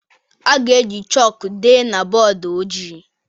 A ga-eji chọkụ dee na bọọdụ ojii